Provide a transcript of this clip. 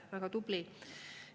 Väga tublid!